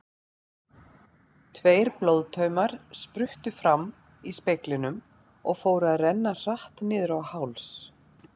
Tveir blóðtaumar spruttu fram í speglinum og fóru að renna hratt niður á háls.